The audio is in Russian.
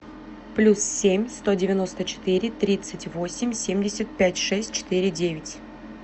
плюс семь сто девяносто четыре тридцать восемь семьдесят пять шесть четыре девять